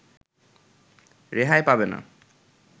রেহাই পাবে না